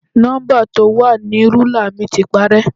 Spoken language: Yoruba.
Nọ́ḿbà tó wà ní rúlà mi ti parẹ́.